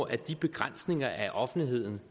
at de begrænsninger af offentlighedens